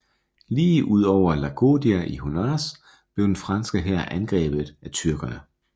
Lige ud over Laodicea i Honaz blev den franske hær angrebet af tyrkerne